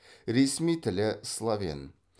ресми тілі словен